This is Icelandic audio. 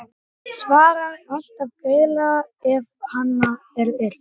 Svarar alltaf greiðlega ef á hana er yrt.